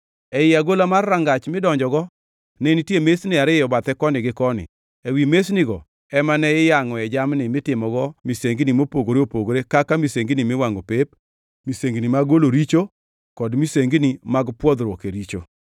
Ei agola mar rangach midonjogo ne nitie mesni ariyo bathe koni gi koni, ewi mesnigo ema ne iyangʼoe jamni mitimogo misengini mopogore opogore kaka misengini miwangʼo pep, misengini mag golo richo, kod misengini mag pwodhoruok e richo.